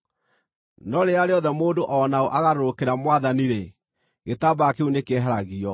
No rĩrĩa rĩothe mũndũ o na ũ agarũrũkĩra Mwathani-rĩ, gĩtambaya kĩu nĩkĩeheragio.